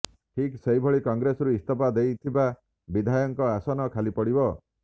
ଠିକ୍ ସେହିଭଳି କଂଗ୍ରେସରୁ ଇସ୍ତଫା ଦେଇଥିବା ବିଧାୟକଙ୍କ ଆସନ ଖାଲିପଡ଼ିବ